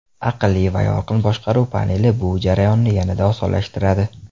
Aqlli va yorqin boshqaruv paneli bu jarayonni yanada osonlashtiradi.